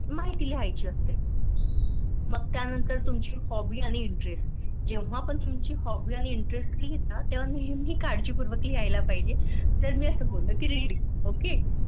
माहिती लिहायची असते त्या नंतर तुमच्या Hobby Interest जेव्हा पण तुमच्या Hobby imterest लिहता तेव्हा नेहमी काळजीपूर्वक लिहयला पाहिजे. जर मी असं बोललं कि ReadingOk